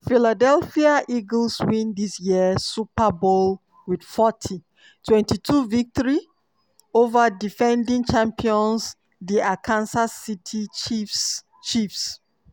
philadelphia eagles win dis year super bowl wit 40-22 victory ova defending champions di kansas city chiefs. chiefs.